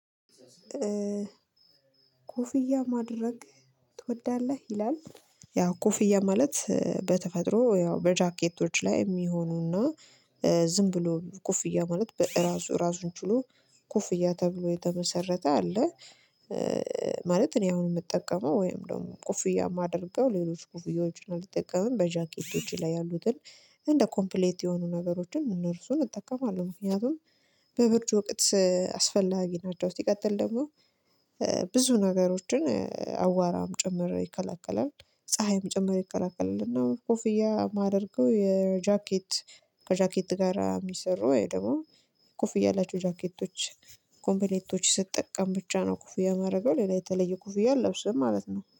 ኮፍያ ማድረግ ትወዳለህ ይላል? ያ ኮፍያ ማለት በተፈጥሮ ያው በጃኬቶች ላይ የሚሆኑና ዝም ብሎ ኮፍያ ማለት በራሱ ራሱን ችሎ ኩፍያ ተብሎ የተመሰረተ አለ። ማለት እኔ አሁን የምጠቀመው ወይም ደግሞ ኮፍያ የማደርገው ሌሎች ኮፍያዎችን አልጠቀምም በጃኬቶች ላይ ያሉትን እንደ ኮምፕሌት የሆኑ ነገሮችን እነርሱን እጠቀማለሁ ምክንያቱም በብርድ ወቅት አስፈላጊ ናቸው። ሲቀጥል ደግሞ ብዙ ነገሮችን አዋቧራም ጭምር ይከለከላል ፀሀይም ጭምር ይከለከላል። እና ኮፍያ የማደርገው የጃኬት ከጃኬት ጋር የሚሰሩ ወይ ደግሞ የኮፍያ ያላቸው ጃኬቶች ኮምፕሌቶች ስትጠቀም ብቻ ነው ኮፍያ ማረገው ሌላ የተለየ ኮፍያ ለብስም ማለት ነው